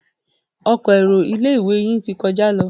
Ọkọ̀ èrò tí ilé-ìwé yin tí kọjá ló.